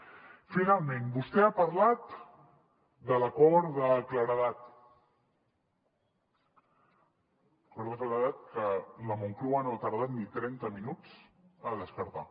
finalment vostè ha parlat de l’acord de claredat acord de claredat que la moncloa no ha tardat ni trenta minuts a descartar